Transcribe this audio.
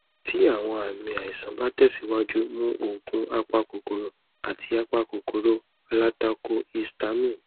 ti awọn aami aisan ba tẹsiwaju mu oogun apakokoro ati apakokoro alatakohistamine